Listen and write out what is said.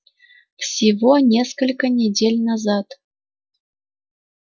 всего несколько недель назад